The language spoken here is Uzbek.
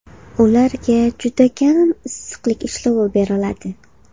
Ularga juda kam issiqlik ishlovi beriladi.